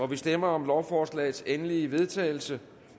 vi stemmer om lovforslagets endelige vedtagelse